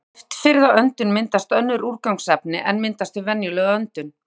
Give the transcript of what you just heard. Við loftfirrða öndun myndast önnur úrgangsefni en myndast við venjulega öndun.